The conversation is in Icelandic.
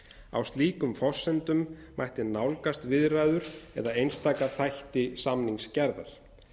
á slíkum forsendum mætti nálgast viðræður eða einstaka þætti samningsgerðar